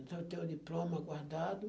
Então, eu tenho o diploma guardado.